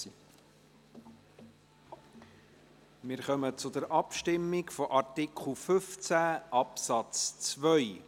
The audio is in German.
Wir kommen zur Abstimmung zum Artikel 15 Absatz 2.